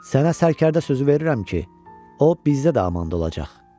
Sənə sərkərdə sözü verirəm ki, o bizdə də amanda olacaq.